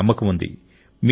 నాకు నమ్మకముంది